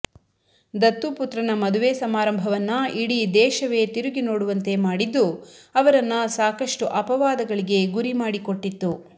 ದತ್ತುಪುತ್ರನ ಮದುವೆ ಸಮಾರಂಭವನ್ನ ಇಡೀ ದೇಶವೇ ತಿರುಗಿ ನೋಡುವಂತೆ ಮಾಡಿದ್ದು ಅವರನ್ನ ಸಾಕಷ್ಟು ಅಪವಾದಗಳಿಗೆ ಗುರಿ ಮಾಡಿಕೊಟ್ಟಿತ್ತು